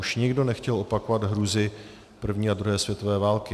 Už nikdo nechtěl opakovat hrůzy první a druhé světové války.